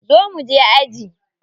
Zo mu je aji.